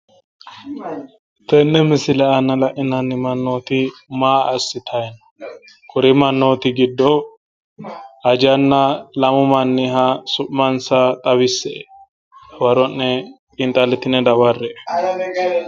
Tenne misile aana lainanni mannooti maa assitayi no? kuri mannooti giddo ajanna lamu manniha su'mansa xawisse'e dawaro'ne xiinxallitine daware'e.